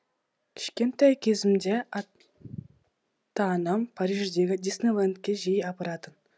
кішкентай кезімде ата анам париждегі диснейлендке жиі апаратын